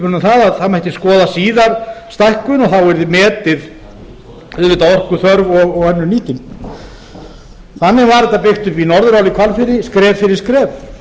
það mætti skoðar síðar stækkun og þá yrði auðvitað metin orkuþörf og önnur nýting þannig var þetta byggt upp við norðurál í hvalfirði skref fyrir skref